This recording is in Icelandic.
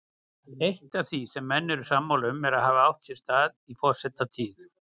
Eitt af því sem menn eru sammála um að hafi átt sér stað í forsetatíð